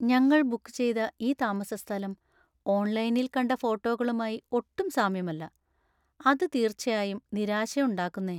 ഞങ്ങൾ ബുക്ക് ചെയ്ത ഈ താമസസ്ഥലം ഓൺലൈനിൽ കണ്ട ഫോട്ടോകളുമായി ഒട്ടും സാമ്യമല്ല, അത് തീർച്ചയായും നിരാശയുണ്ടാക്കുന്നേ.